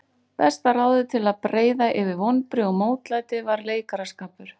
Besta ráðið til að breiða yfir vonbrigði og mótlæti var leikaraskapur.